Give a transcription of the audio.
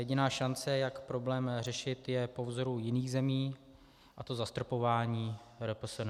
Jediná šance, jak problém řešit, je po vzoru jiných zemí, a to zastropováním RPSN.